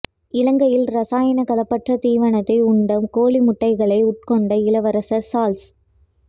இலங்கையில் இரசாயன கலப்பற்ற தீவனத்தை உண்ட கோழி முட்டைகளை உட்கொண்ட இளவரசர் சார்ள்ஸ்